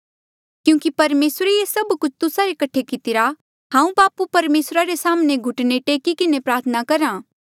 क्यूंकि परमेसरे ये सभ कुछ तुस्सा रे कठे कितिरा हांऊँ बापू परमेसरा रे साम्हणें घुटने टेक्की किन्हें प्रार्थना करहा